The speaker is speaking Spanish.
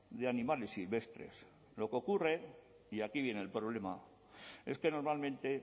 de animales silvestres lo que ocurre y aquí viene el problema es que normalmente